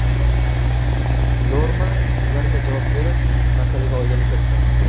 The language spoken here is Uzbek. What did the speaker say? Norma ularga javob berib, masalaga oydinlik kiritgan .